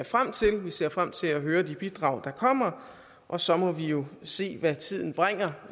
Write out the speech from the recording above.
frem til vi ser frem til at høre de bidrag der kommer og så må vi jo se hvad tiden bringer